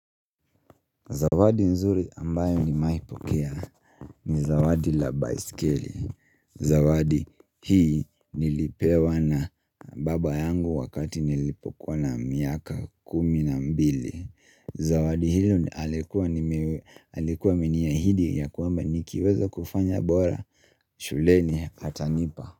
Zawadi nzuri ambayo nimewaipokea ni zawadi la bisikeli. Zawadi hii nilipewa na baba yangu wakati nilipokuwa na miaka kumi na mbili. Zawadi hilo alikuwa ameniahidi ya kwamba nikiweza kufanya bora. Shuleni atanipa.